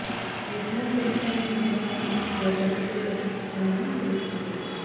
ఈ సినిమా పూర్తి family entertainer గా దర్శకుడు తెరకెక్కిస్తున్నాడని తెలుస్తోంది